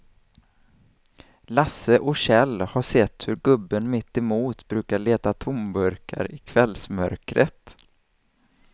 Lasse och Kjell har sett hur gubben mittemot brukar leta tomburkar i kvällsmörkret.